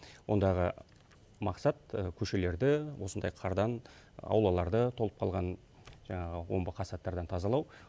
ондағы мақсат көшелерді осындай қардан аулаларды толып қалған жаңағы омбықасаттардан тазалау